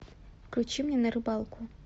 включи мне на рыбалку